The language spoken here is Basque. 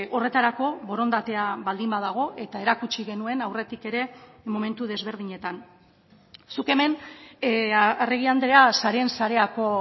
horretarako borondatea baldin badago eta erakutsi genuen aurretik ere momentu desberdinetan zuk hemen arregi andrea sareen sareako